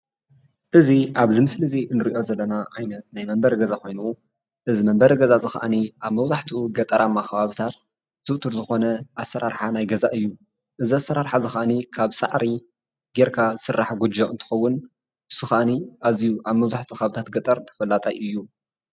እዚ ኣብዚ ምስሊ እዚ እንሪኦ ዘለና ዓይነት ናይ መንበሪ ገዛ ኮይኑ እዚ መንበሪ ገዛ እዚ ክዓኒ ኣብ መብዛሕቲኡ ገጠራማ ከባብታት ዝዉቱር ዝኾነ ኣሰራርሓ ናይ ገዛ እዩ። እዚ ኣሰራርሓ እዚ ክዓኒ ካብ ሳዕሪ ጌርካ ዝስራሕ ጎጆ እንትኸዉን እዚ ክዓኒ ኣዝዩ ኣብ መብዛሕቲኡ ከባብታት ገጠር ተፈላጣይ እዩ።